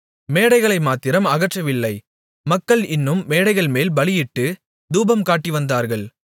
மேடைகளை மாத்திரம் அகற்றவில்லை மக்கள் இன்னும் மேடைகள்மேல் பலியிட்டுத் தூபம் காட்டிவந்தார்கள்